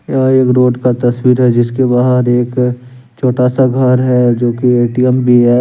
यह एक रोड का तस्वीर है जिसके बाहर एक छोटा सा घर है जो की ए _टी_एम भी है।